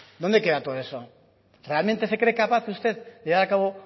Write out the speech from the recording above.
dónde queda todo eso realmente se cree capaz usted de llevar a cabo